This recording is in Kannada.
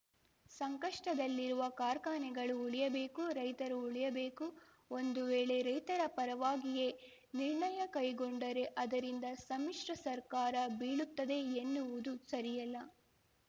ಸಂಕಷ್ಟದಲ್ಲಿರುವ ಕಾರ್ಖಾನೆಗಳು ಉಳಿಯಬೇಕು ರೈತರೂ ಉಳಿಯಬೇಕು ಒಂದು ವೇಳೆ ರೈತರ ಪರವಾಗಿಯೇ ನಿರ್ಣಯ ಕೈಗೊಂಡರೆ ಅದರಿಂದ ಸಮ್ಮಿಶ್ರ ಸರ್ಕಾರ ಬೀಳುತ್ತದೆ ಎನ್ನುವುದು ಸರಿಯಲ್ಲ